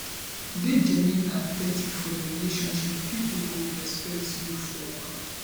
dey genuine and authentic for your relationship people go respect you for am